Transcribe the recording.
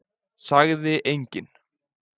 Sagði enginn.